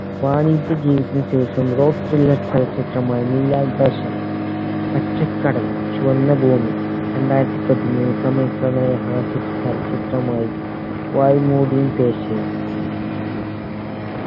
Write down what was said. വാണിജ്യ ജീവിതത്തിന് ശേഷം rock thriller ചലച്ചിത്രമായ നീലാകാശം പച്ചക്കടൽ ചുവന്ന ഭൂമി രണ്ടായിരത്തി പതിനേഴ് തമിഴ് പ്രണയ ഹാസ്യ ചി ചലച്ചിത്രമായി വായ് മൂടി പേസവും